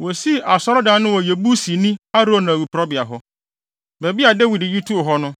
Wosii Asɔredan no wɔ Yebusini Arauna awiporowbea hɔ, baabi a Dawid yi too hɔ no.